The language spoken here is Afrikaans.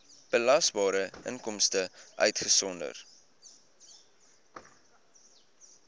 belasbare inkomste uitgesonderd